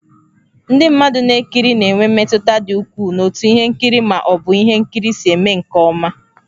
Ndị mmadụ na-ekiri na-enwe mmetụta dị ukwuu n'otú ihe nkiri ma ọ bụ ihe nkiri si eme nke ọma.